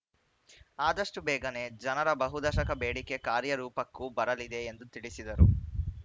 ಆದಷ್ಟುಬೇಗನೆ ಜನರ ಬಹು ದಶಕದ ಬೇಡಿಕೆ ಕಾರ್ಯ ರೂಪಕ್ಕೂ ಬರಲಿದೆ ಎಂದು ತಿಳಿಸಿದರು